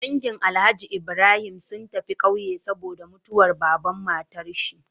Dangi alhaji Ibrahim sun tafi ƙauye saboda mutuwar baban matar shi